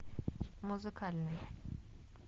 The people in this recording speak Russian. музыкальный